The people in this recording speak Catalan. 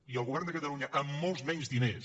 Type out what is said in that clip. i el govern de catalunya amb molts menys diners